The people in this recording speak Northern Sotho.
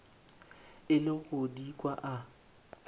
ile go di kwa a